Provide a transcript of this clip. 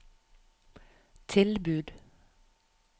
tilbud